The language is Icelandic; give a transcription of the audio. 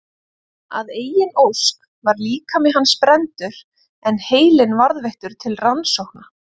Að eigin ósk var líkami hans brenndur en heilinn varðveittur til rannsókna.